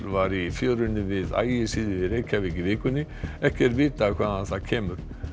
var í fjörunni við Ægisíðu í Reykjavík í vikunni ekki er vitað hvaðan það kemur